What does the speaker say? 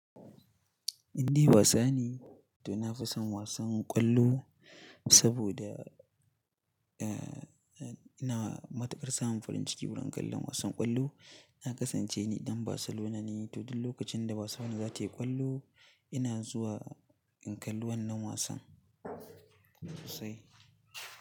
In dai wasa ne, to na fi son wasan ƙwallo saboda, eh, eh ina matuƙar samun farin ciki wurin kallon wasan ƙwallo. Na kasance ni ɗan Barcelona ne, to duk lokacin da wasa na zatai ƙwallo ina zuwa in kalli wannan wasan sosai.